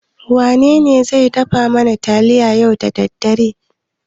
Wanene zai dafa mana taliya yau da daddare?